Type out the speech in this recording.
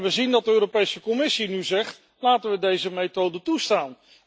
En we zien dat de Europese Commissie nu zegt laten we deze methode toestaan.